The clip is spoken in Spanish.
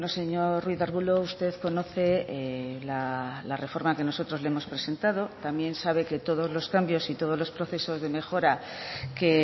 señor ruiz de arbulo usted conoce la reforma que nosotros le hemos presentado también sabe que todos los cambios y todos los procesos de mejora que